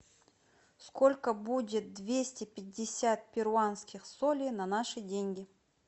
сколько будет двести пятьдесят перуанских солей на наши деньги